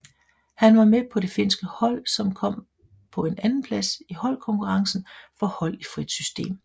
Han var med på det finske hold som kom på en andenplads i holdkonkurrencen for hold i frit system